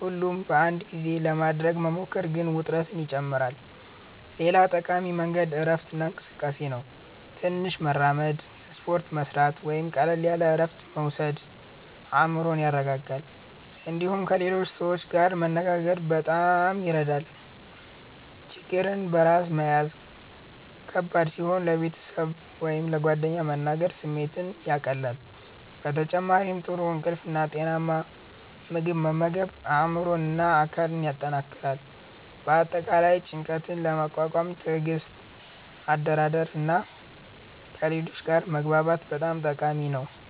ሁሉን በአንድ ጊዜ ለማድረግ መሞከር ግን ውጥረትን ይጨምራል። ሌላ ጠቃሚ መንገድ እረፍት እና እንቅስቃሴ ነው። ትንሽ መራመድ፣ ስፖርት መስራት ወይም ቀላል እረፍት መውሰድ አእምሮን ያረጋጋል። እንዲሁም ከሌሎች ሰዎች ጋር መነጋገር በጣም ይረዳል። ችግርን በራስ መያዝ ከባድ ሲሆን ለቤተሰብ ወይም ለጓደኞች መናገር ስሜትን ያቀላል። በተጨማሪም ጥሩ እንቅልፍ እና ጤናማ ምግብ መመገብ አእምሮን እና አካልን ያጠናክራል። በአጠቃላይ ጭንቀትን ለመቋቋም ትዕግስት፣ አደራደር እና ከሌሎች ጋር መግባባት በጣም ጠቃሚ ናቸው።